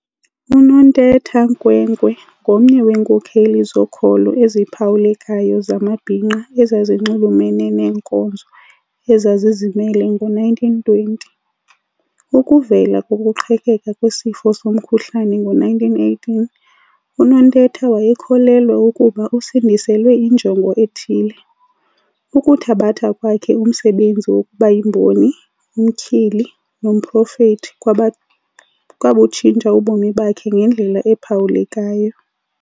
UNontetha Nkwenkwe ngomnye weenkokheli zokholo eziphawulekayo zamabhinqa ezazinxumelene neenkonzo eza zizimele ngoo-1920. Ukuvela kokuqhekeka kwesifo somkhuhlane ngo1918, uNontetha wayekholelwa ukuba usindiselwe injongo ethile. Ukuthabatha kwakhe umsebenzi wokubayimboni, umtyhili, nomprofeti kwabutshintsha ubomi bakhe ngendlela ephawulekayo.